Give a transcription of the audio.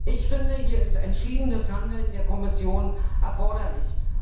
Ich finde, hier ist entschiedenes Handeln der Kommission erforderlich.